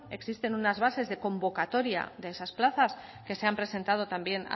existen una bases de convocatoria de esas plazas que se han presentado también